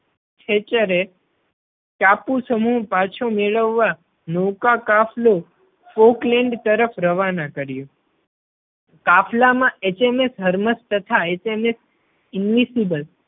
ખેચરે ટાપુ સમૂહ પાછો મેળવવા નૌકા કાફલો folkland તરફ રવાના કર્યો. કાફલા માં HMS Hermes તથા HMS Invincible